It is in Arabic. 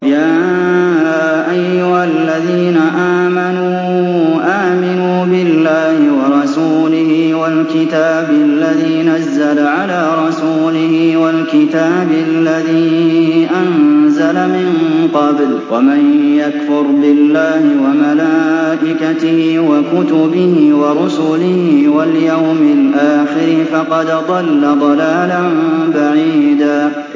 يَا أَيُّهَا الَّذِينَ آمَنُوا آمِنُوا بِاللَّهِ وَرَسُولِهِ وَالْكِتَابِ الَّذِي نَزَّلَ عَلَىٰ رَسُولِهِ وَالْكِتَابِ الَّذِي أَنزَلَ مِن قَبْلُ ۚ وَمَن يَكْفُرْ بِاللَّهِ وَمَلَائِكَتِهِ وَكُتُبِهِ وَرُسُلِهِ وَالْيَوْمِ الْآخِرِ فَقَدْ ضَلَّ ضَلَالًا بَعِيدًا